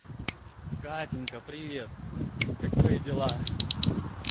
катенька привет как твои дела